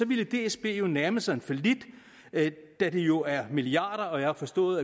ville dsb nærme sig en fallit da det jo er milliarder og jeg har forstået